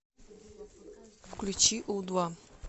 включи у два